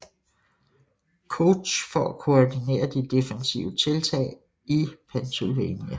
Couch for at koordinere de defensive tiltag i Pennsylvania